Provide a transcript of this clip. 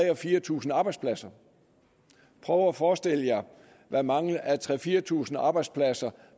og fire tusind arbejdspladser prøv at forestille jer hvad mangel af tre tusind fire tusind arbejdspladser